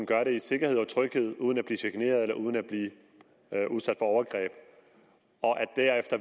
gøre det i sikkerhed og tryghed uden at blive chikaneret og uden at blive udsat for overgreb